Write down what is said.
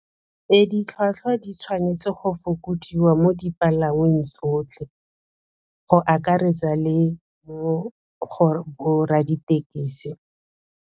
Ditlhwatlhwa di tshwanetse go fokodiwa mo dipalangweng tsotlhe, go akaretsa le mo go borra-ditekesi.